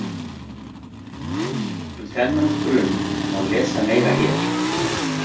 Um þennan brunn má lesa meira hér.